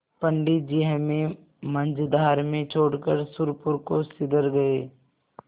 पंडित जी हमें मँझधार में छोड़कर सुरपुर को सिधर गये